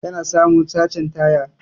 kana samu sachen taya.